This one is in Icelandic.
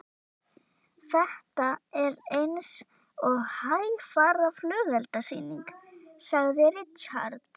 Þetta er eins og hægfara flugeldasýning, sagði Richard.